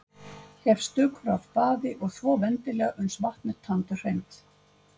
Hef stökur af baði og þvo vendilega uns vatn er tandurhreint.